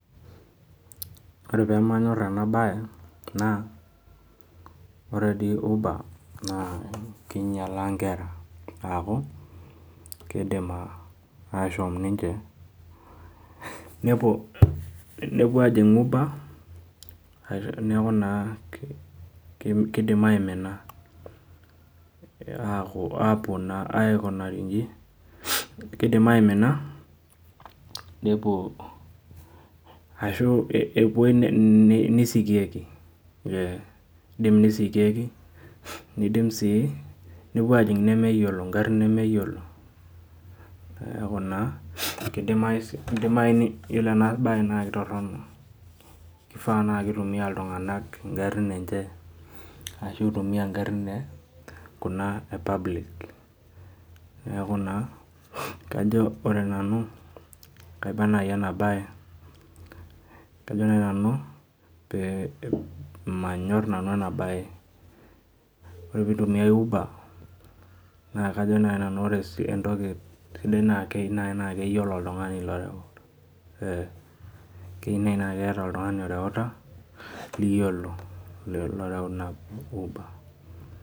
Ore pemanyor enabae, naa, ore di uber, naa kinyalaa nkera, aku, kidim ashom ninche nepuo, nepuo ajing' uber, neeku naa kiidim aimina. Apuo naa aikunari iji, kidim aimina, nepuo ashu epuoi nisikieki. Kidim nisikieki, nidim si nepuo ajing' nemeyiolo garrin nemeyiolo. Neeku naa, kidimayu yiolo enabae na kitorrono. Kifaa na kitumia iltung'anak igarrin enche, ashu itumia igarrin kuna e public. Neeku naa, kajo ore nanu, kaiba nai enabae, kajo nai nanu, manyor nanu enabae. Ore pitumiai uber, naa kajo nai nanu ore entoki sidai naa kei nai naa keyiolo oltung'ani loreu, kei nai na keeta oltung'ani loreuta, liyiolo loreu ina uber.